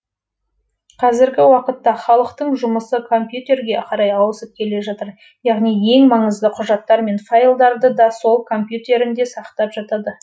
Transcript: қазіргі уақытта халықтың жұмысы компьютерге қарай ауысып келе жатыр яғни ең маңызды құжаттар мен файлдарды да сол компьютерінде сақтап жатады